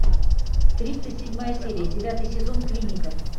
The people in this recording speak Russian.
тридцать седьмая серия девятый сезон клиника